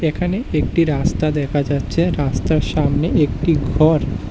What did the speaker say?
এখানে একটি রাস্তা দেখা যাচ্ছে রাস্তার সামনে একটি ঘর।